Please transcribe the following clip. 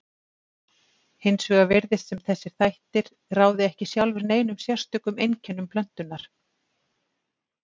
Hins vegar virtist sem þessir þættir ráði ekki sjálfir neinum sérstökum einkennum plöntunnar.